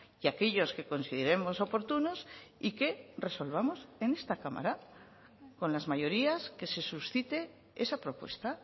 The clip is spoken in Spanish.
y aquellos que consideremos oportunos y que resolvamos en esta cámara con las mayorías que se suscite esa propuesta